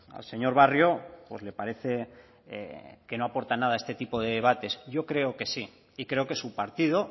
al señor barrio pues le parece que no aporta nada este tipo de debates yo creo que sí y creo que su partido